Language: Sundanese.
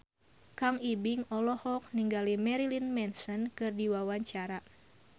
Kang Ibing olohok ningali Marilyn Manson keur diwawancara